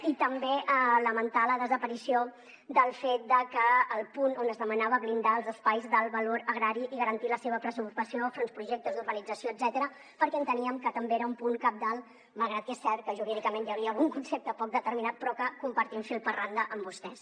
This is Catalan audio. i també lamentar la desaparició del punt on es demanava blindar els espais d’alt valor agrari i garantir la seva preservació enfront de projectes d’urbanització etcètera perquè enteníem que també era un punt cabdal malgrat que és cert que jurídicament hi havia algun concepte poc determinat però que compartim fil per randa amb vostès